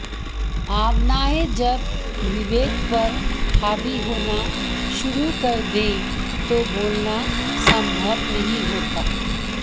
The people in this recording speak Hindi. भावनाएं जब विवेक पर हावी होना शुरू कर दें तो बोलना संभव नहीं होता